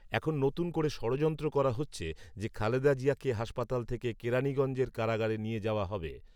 এখন নতুন করে ষড়যন্ত্র করা হচ্ছে যে, খালেদা জিয়াকে হাসপাতাল থেকে কেরানীগঞ্জের কারাগারে নিয়ে যাওয়া হবে